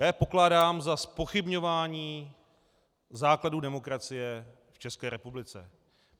Já je pokládám za zpochybňování základů demokracie v České republice.